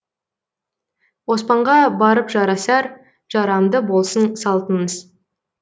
оспанға барып жарасар жарамды болсын салтыңыз